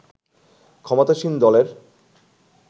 ক্ষমতাসীন দলের